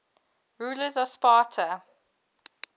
rulers of sparta